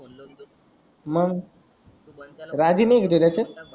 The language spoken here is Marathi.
मग तु भणत्याला डबल रागी नाही का त्याच्यासी